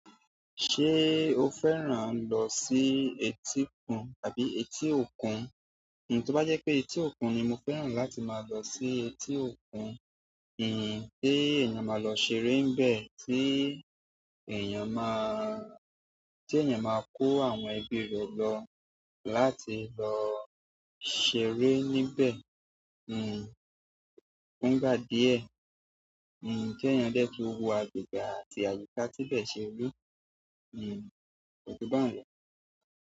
Ṣé o fẹ́ràn lọ sí etíkun tàbí etí òkun? Kíni tó bá jẹ́ pé etí òkun ni mo fẹ́ràn láti máa lọ sí etí òkun, kíì ṣe èèyàn máa lọ ṣeré níbẹ̀ tí èèyàn máa, tí èèyàn máa kó àwọn ẹbí rẹ̀ lọ láti lọ ṣeré níbẹ̀. Hmm. Kún ìgbà díẹ̀. Hmm. Kí èèyàn dẹ̀ tó wọ àgbègbè àti àyíká tí bẹ̀ ṣe rí. Hmm. Kò jù bá n lọ.